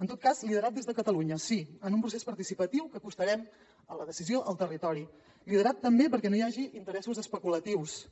en tot cas liderat des de catalunya sí en un procés participatiu que acostarem la decisió al territori liderat també perquè no hi hagi interessos especulatius